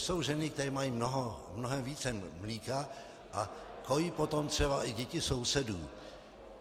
Jsou ženy, které mají mnohem více mléka a kojí potom třeba i děti sousedů.